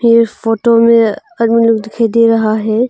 इस फोटो में आदमी लोग दिखाई दे रहा है।